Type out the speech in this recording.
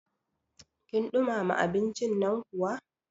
Kin ɗumama abincin nan kuwa?